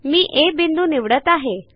मी आ बिंदू निवडत आहे